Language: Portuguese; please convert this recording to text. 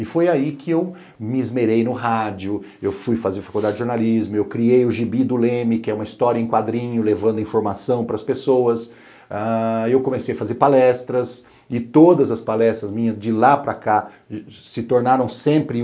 E foi aí que eu me esmerei no rádio, eu fui fazer faculdade de jornalismo, eu criei o Gibi do Leme, que é uma história em quadrinho levando informação para as pessoas, ãh eu comecei a fazer palestras e todas as palestras minhas de lá para cá se tornaram sempre uma